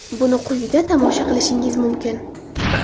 Buni quyida tomosha qilishingiz mumkin: !